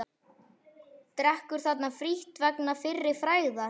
Drekkur þarna frítt vegna fyrri frægðar.